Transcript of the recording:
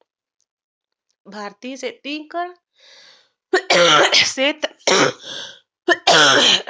भारतीय सेतीक सेत